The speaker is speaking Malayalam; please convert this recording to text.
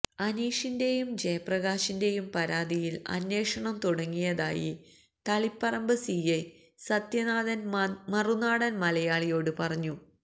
അനീഷിന്റെയും ജയപ്രകാശിന്റെയും പരാതിയിൽ അന്വേഷണം തുടങ്ങിയതായി തളിപ്പറമ്പ് സിഐ സത്യനാഥൻ മറുനാടൻ മലയാളിയോട് പറഞ്ഞു